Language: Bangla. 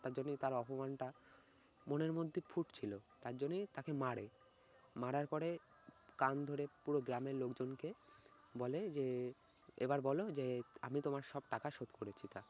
তার জন্যে তারা অপমানটা মনের মধ্যে ফুটছিলো তার জন্যই তাকে মারে, মারার পরে কান ধরে পুরো গ্রামের লোকজনকে বলে যে এবার বল যে আমি তোমার সব টাকা শোধ করেছি।